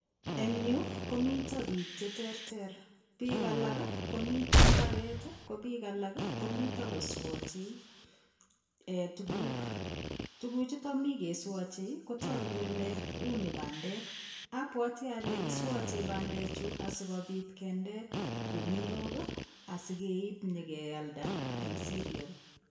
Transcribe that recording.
Eng yu komito piik che terter, piik alak komito mbaret ii ko piik alak komito koswoche tukuk, tukuchuto mi keswoche kotoku kole uni bandek, abwoti ale kiswoche bandechu asikobit kende guniok ii, asikeib nyekealda eng cerial.